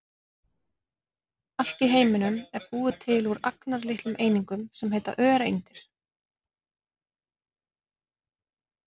Allt í heiminum er búið til úr agnarlitlum einingum sem heita öreindir.